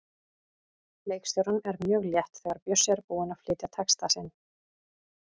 Leikstjóranum er mjög létt þegar Bjössi er búinn að flytja texta sinn.